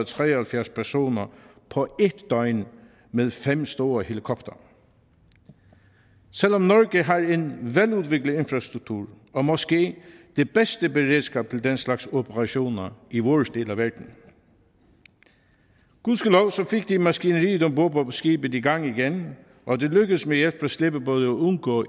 tre og halvfjerds personer på en døgn med fem store helikoptere selv om norge har en veludviklet infrastruktur og måske det bedste beredskab til den slags operationer i vores del af verden gudskelov fik de maskineriet om bord på skibet i gang igen og det lykkedes med hjælp fra slæbebåde at undgå